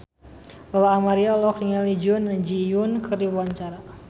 Lola Amaria olohok ningali Jun Ji Hyun keur diwawancara